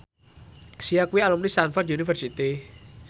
Sia kuwi alumni Stamford University